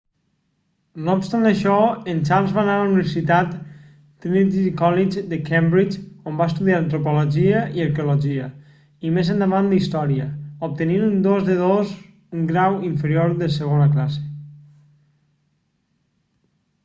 no obstant això en charles va anar a la universitat trinity college de cambridge on va estudiar antropologia i arqueologia i més endavant història obtenint un 2:2 un grau inferior de segona classe